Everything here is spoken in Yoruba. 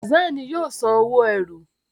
Hassan ní yíò sàn owo ẹ́rù.